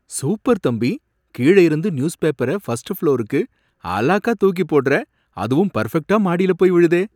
Super தம்பி! கீழ இருந்து நியூஸ் பேப்பர ஃபர்ஸ்ட் ஃப்ளோருக்கு அலாக்கா தூக்கி போடுற. அதுவும் பர்ஃபெக்ட்டா மாடியில போய் விழுதே!